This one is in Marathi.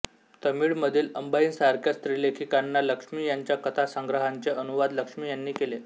तमिळमधील अंबाईसारख्या स्त्रीलेखिकांना लक्ष्मी यांच्या कथासंग्रहांचे अनुवाद लक्ष्मी यांनी केले